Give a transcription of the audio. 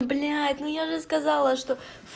блябь ну я же сказала что